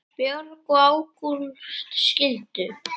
Björg og Ágúst skildu.